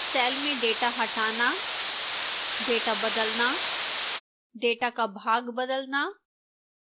cell में data हटाना data बदलना data का भाग बदलना